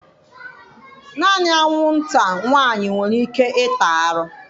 Naanị anwụnta nwanyị nwere ike ịta arụ.